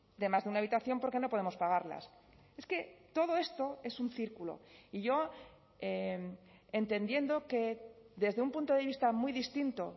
de más de una habitación porque no podemos pagarlas es que todo esto es un círculo y yo entendiendo que desde un punto de vista muy distinto